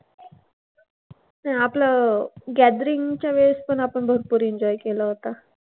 अं आपलं gathering च्या वेळेस पण आपण भरपूर enjoy केला होता.